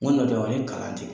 Ŋo ne do ani kalan te